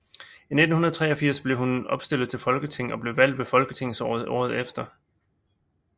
I 1983 blev hun opstillet til Folketinget og blev valgt ved folketingsvalget året efter